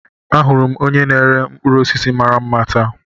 Ahụrụ m onye na-ere mkpụrụ osisi mara mma taa.